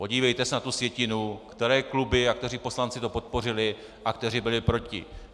Podívejte se na tu sjetinu, které kluby a kteří poslanci to podpořili a kteří byli proti.